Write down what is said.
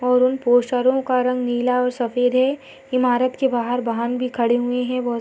और उन पोस्टरों का रंग नीला और सफेद है इमारत के बाहर वाहन भी खड़े हुए है बहुत स --